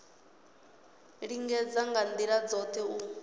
lingedza nga ndila dzothe u